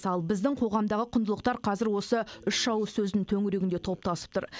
ал біздің қоғамдағы құндылықтар қазір осы үш ауыз сөздің төңірегінде топтасып тұр